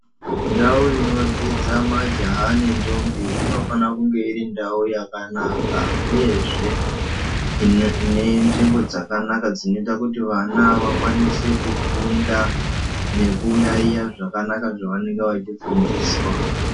Ndau inodzidza majaha nentombi inofana kunge iri ndau yakanaka, uyezve ine nzvimbo dzakanaka dzinoita kuti vana vakwanise kufunda nekuyaiya zvakanaka zvavanenge vachifundiswa.